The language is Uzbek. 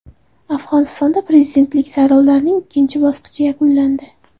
Afg‘onistonda prezidentlik saylovlarining ikkinchi bosqichi yakunlandi.